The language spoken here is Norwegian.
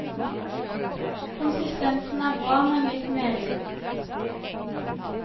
Konsistensen er bra, men litt melen.